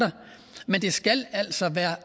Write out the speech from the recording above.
men det skal altså være